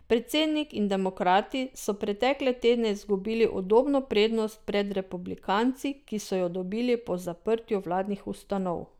Predsednik in demokrati so pretekle tedne izgubili udobno prednost pred republikanci, ki so jo dobili po zaprtju vladnih ustanov.